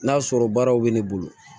N'a sɔrɔ baaraw bɛ ne bolo